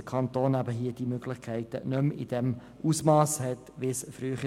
Der Kanton hat diese Möglichkeiten nicht mehr in demselben Ausmass wie früher.